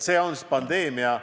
See on pandeemia.